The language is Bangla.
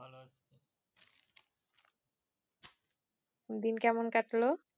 দিন কেমন কাটলো